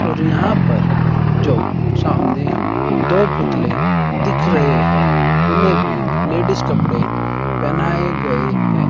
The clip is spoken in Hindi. और यहां पर जो सामने हमें दो पुतले दिख रहे हैं उन्हें भी लेडिस कपड़े पहनाए गए है।